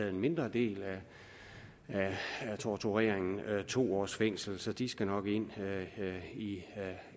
en mindre del af torturen to års fængsel så de skal nok ind i